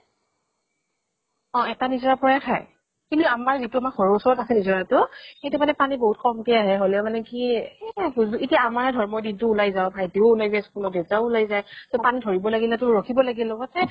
অ এটা নিজৰাৰ পৰাই খায়। কিন্তু আমাৰ যিটো আমাৰ ঘৰৰ ওচৰত আছে নিজৰাটো, সেইটো মানে পানী বহুত কম কে আহে, হলেও মানে কি এহ এতিয়া আমাৰে ধৰ, মই দিন টো ওলাই যাওঁ, ভাটিও ওলাই যায় school ত, দেউতাও ওলাই যায়। ত পানী ধৰিব লাগিলে তো ৰখিব লাগিল সেই